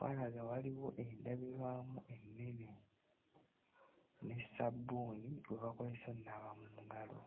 walaga waliwo endabirwamu ennene ne ssabbuuni gwe bakozesa onnaaba mu ngalo.